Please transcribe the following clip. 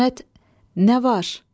İsmət, nə var?